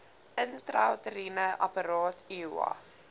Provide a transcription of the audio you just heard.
intrauteriene apparaat iua